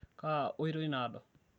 kaa oitoi naado?